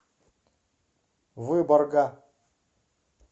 выборга